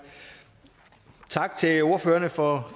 tak til ordførerne for